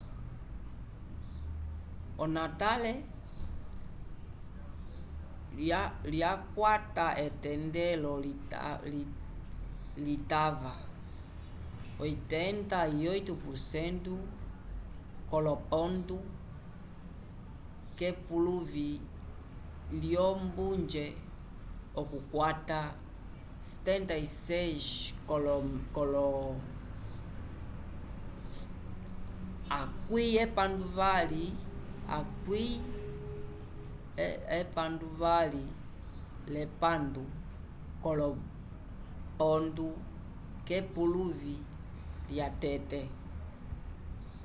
onatale lyakwata etendelo litava 88% k'olopontu k'epuluvi lyombunje okukwata 76 k'olopontu k'epuluvi lyatete